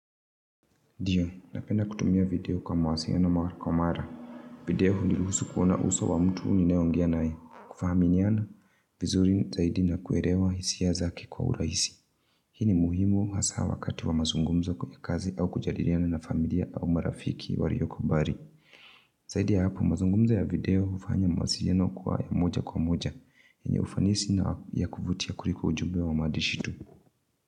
Ndio, napenda kutumia video kwa mawasiliano mara kwa mara video huniruhusu kuona uso wa mtu ninayeongea naye. Kuaminiana, vizuri zaidi na kuelewa hisia zake kwa urahisi. Hii ni muhimu hasa wakati wa mazungumzo kwenye kazi au kujadiliana na familia au marafiki walioko bali. Zaidi ya hapo mazungumzo ya video hufanya mawasiliano kuwa moja kwa moja. Yenye ufanisi na ya kuvutia kuliko ujumbe wa maandishi yetu.